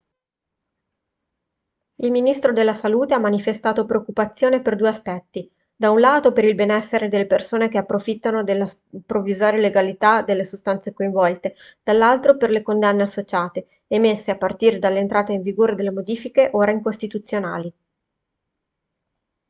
il ministro della salute ha manifestato preoccupazione per due aspetti da un lato per il benessere delle persone che approfittano della provvisoria legalità delle sostanze coinvolte dall'altro per le condanne associate emesse a partire dall'entrata in vigore delle modifiche ora incostituzionali